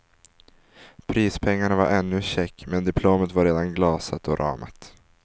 Prispengarna var ännu check men diplomet var redan glasat och ramat.